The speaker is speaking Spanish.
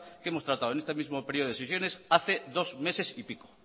que hemos tratado en este mismo período de sesiones hace dos meses y pico